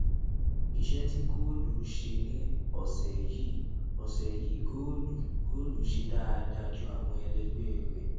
iṣẹ tí góòlù ṣe ní òsè yìí ọsè yìí góòlù góòlù ṣe dáadáa ju àwọn ẹlẹgbẹ rẹ